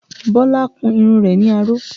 Bọlá kun irun rẹ̀ ní aró